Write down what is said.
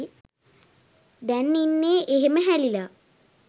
දැන් ඉන්නෙ එහෙම හැලිලා.